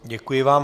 Děkuji vám.